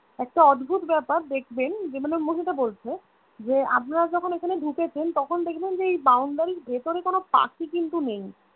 একটা অদ্ভুত ব্যাপার দেখবেন যে মানে মহিলাটা বলছে যে আপনারা যখন এখানে ঢুকেছেন তখন দেখবেন যে এই Boundary এর ভিতরে কোনো পাখি কিন্তু নেই